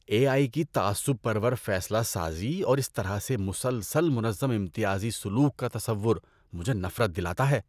اے I کی تعصب پرور فیصلہ سازی اور اس طرح سے مسلسل منظم امتیازی سلوک کا تصور مجھے نفرت دلاتا ہے۔